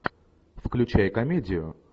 включай комедию